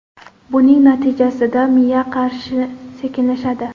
Buning natijasida miya qarishi sekinlashadi.